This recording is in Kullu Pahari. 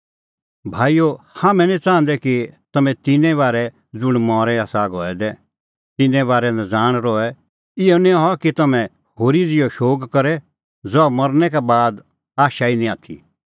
भाईओ हाम्हैं निं च़ाहंदै कि तम्हैं तिन्नें बारै ज़ुंण मरी आसा गऐ दै तिन्नें बारै नज़ाण रहे इहअ निं हआ कि तम्हैं होरी ज़िहअ शोग करे ज़हा मरनै का बाद आशा ई निं आथी